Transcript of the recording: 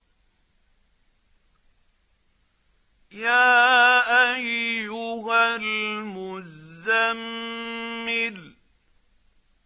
يَا أَيُّهَا الْمُزَّمِّلُ